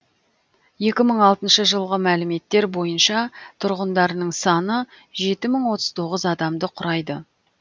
екі мың алтыншы жылғы мәліметтер бойынша тұрғындарының саны жеті мың отыз тоғыз адамды құрайды